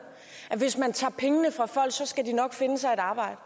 at hvis man tager pengene fra folk skal de nok finde sig et arbejde